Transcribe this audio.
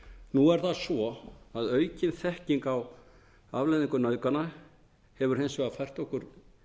nú er það svo að aukin þekking á afleiðingum nauðgana hefur hins vegar fært okkur